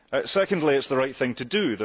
Secondly, it is the right thing to do.